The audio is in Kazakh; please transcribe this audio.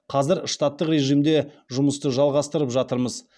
қазір штаттық режимде жұмысты жалғастырып жатырмыз